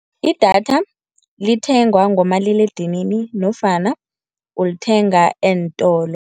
Idatha lithengwa ngomaliledinini nofana ulithenga eentolo.